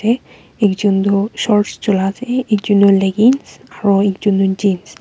te ekjun tu shorts jula ase ekjun tu leggings aro ekjun tu jeans .